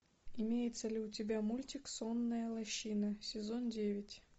имеется ли у тебя мультик сонная лощина сезон девять